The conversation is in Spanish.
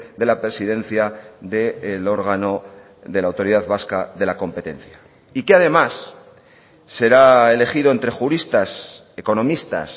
de la presidencia del órgano de la autoridad vasca de la competencia y que además será elegido entre juristas economistas